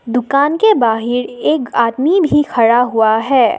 दुकान के बाहर एक आदमी भी खड़ा हुआ है।